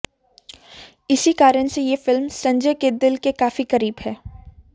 इसी कारण ये फिल्म संजय के दिल के काफी करीब है